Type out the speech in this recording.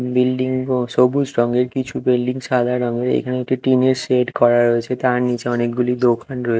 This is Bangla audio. বিল্ডিং ও সবুজ রংয়ের কিছু বিল্ডিং সাদা রংয়ের এখানে একটি টিন -এর শেড করা রয়েছে তার নিচে অনেকগুলি দোকান রয়েছে।